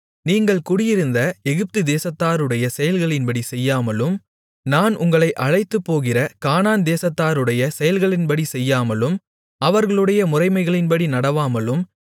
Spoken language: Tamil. நீங்கள் குடியிருந்த எகிப்துதேசத்தாருடைய செயல்களின்படி செய்யாமலும் நான் உங்களை அழைத்துப்போகிற கானான் தேசத்தாருடைய செயல்களின்படி செய்யாமலும் அவர்களுடைய முறைமைகளின்படி நடவாமலும்